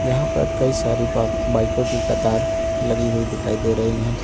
यहां पर कई सारी बाईकों कि कतर लगी हुई दिखाई दे रही है।